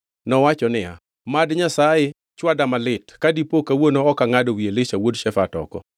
Nowacho niya, “Mad Nyasaye chwada malit ka dipo kawuono ok angʼado wi Elisha wuod Shafat oko!”